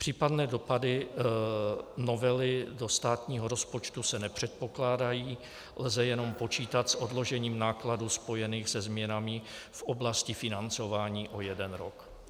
Případné dopady novely do státního rozpočtu se nepředpokládají, lze jenom počítat s odložením nákladů spojených se změnami v oblasti financování o jeden rok.